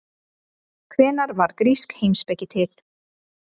Hvenær varð grísk heimspeki til?